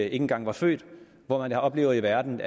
engang var født hvor man oplevede en verden